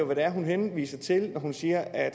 hvad det er hun henviser til når hun siger at